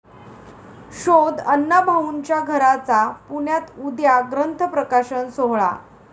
शोध अण्णाभाऊंच्या घराचा', पुण्यात उद्या ग्रंथ प्रकाशन सोहळा